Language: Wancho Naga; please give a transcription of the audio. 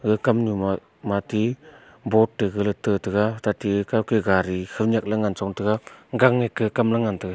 kam nyu ma mati bot gale tate ga kau ke gari khaunyak le ngan chong tega gang nge kam le ngan tega.